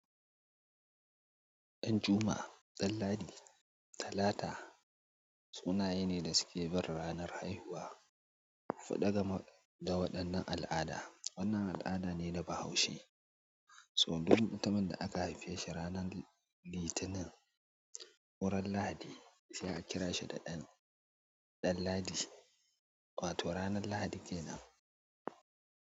Ɗanjuma, Danladi, Talata sunaye ne da suke barin ranar haihuwa faɗa gama da waɗannan al'ada. Wannan al'ada ne na bahaushe. So birin mutumin da aka haife shi ranar Litinin, wurin Lahadi sai a kira shi da Ɗanladi, wato ranar Lahadi kenan.